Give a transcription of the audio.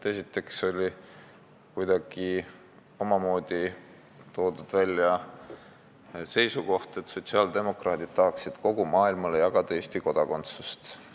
Esiteks oli kuidagi omamoodi toodud välja seisukoht, et sotsiaaldemokraadid tahaksid kogu maailmale jagada Eesti kodakondsust.